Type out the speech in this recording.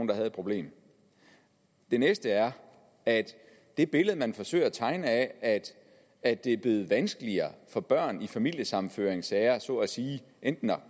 der havde et problem det næste er at det billede man forsøger at tegne af at det er blevet vanskeligere for børn i familiesammenføringssager så at sige enten at